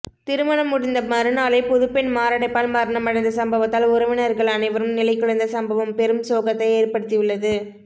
திருமணம் முடிந்த மறுநாளே புதுப்பெண் மாரடைப்பால் மரணமடைந்த சம்பவத்தால் உறவினர்கள் அனைவரும் நிலைகுலைந்த சம்பவம் பெரும் சோகத்தை ஏற்படுத்தியுள்ளது